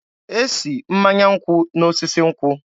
E si mmanya nkwụ n'osisi nkwụ.